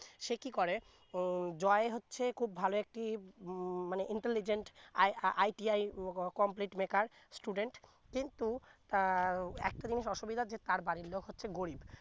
সে কি করে উম জয় হচ্ছে ভালো একটি উম intelligentITIcomplete maker student কিন্তু তার একটা জিনিস অসুবিধা যে তার বাড়ি লোক হচ্ছে গরিব